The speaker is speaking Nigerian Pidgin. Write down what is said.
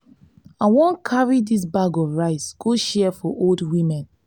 i wan carry dis bag of rice go share for di old women.